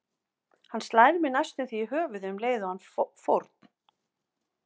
Hann slær mig næstum því í höfuðið um leið og hann fórn